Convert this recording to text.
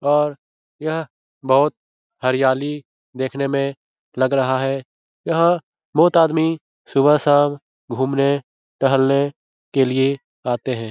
और यह बहुत हरियाली देखने में लग रहा है यहाँ बहुत आदमी सुबह-शाम घूमने-टहलने के लिए आते हैं ।